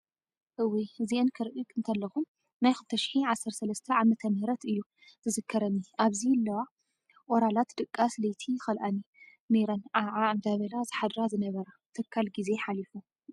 እውይ እዚኣን ክሪኢ እንተለኩ ናይ 2013 ዓ.ም እዩ ዝዝከረኒ ኣብዚ ለዋ ኦራላት ድቃስ ለይቲ ይከላእኒ ነይረን ዓዓ እንዳበላ ዝሓድራ ዝነበራ። ተካል ግዜ ሓሊፉ